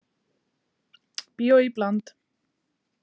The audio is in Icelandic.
Bíó í bland